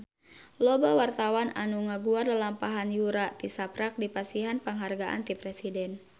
Loba wartawan anu ngaguar lalampahan Yura tisaprak dipasihan panghargaan ti Presiden